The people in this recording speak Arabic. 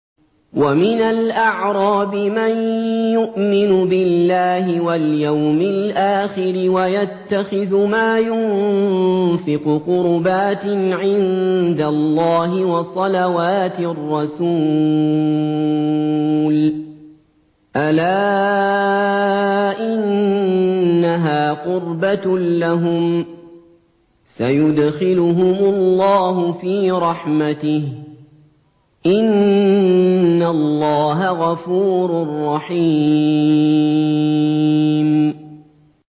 وَمِنَ الْأَعْرَابِ مَن يُؤْمِنُ بِاللَّهِ وَالْيَوْمِ الْآخِرِ وَيَتَّخِذُ مَا يُنفِقُ قُرُبَاتٍ عِندَ اللَّهِ وَصَلَوَاتِ الرَّسُولِ ۚ أَلَا إِنَّهَا قُرْبَةٌ لَّهُمْ ۚ سَيُدْخِلُهُمُ اللَّهُ فِي رَحْمَتِهِ ۗ إِنَّ اللَّهَ غَفُورٌ رَّحِيمٌ